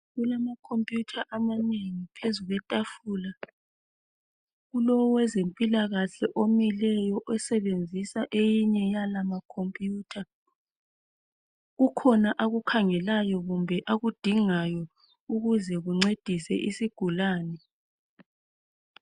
Kulama khompuyutha amanengi phezu kwetafula, kulowezempilakahle omileyo osebenzisa eyinye yala makhompuyutha, kukhona akukhangelayo kumbe akudingayo ukuze kuncedise isigulani.